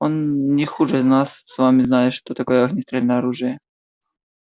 он не хуже нас с вами знает что такое огнестрельное оружие